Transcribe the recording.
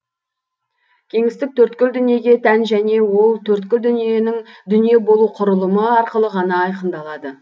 кеңістік төрткіл дүниеге тән және ол төрткіл дүниенің дүние болу құрылымы арқылы ғана айқындалады